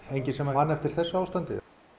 enginn sem man eftir þessu ástandi